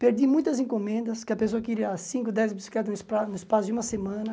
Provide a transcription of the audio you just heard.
Perdi muitas encomendas, que a pessoa queria cinco, dez bicicletas no espa no espaço de uma semana.